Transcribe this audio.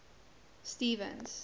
stevens